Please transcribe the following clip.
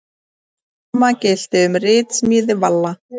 Sama gilti um ritsmíð Valla.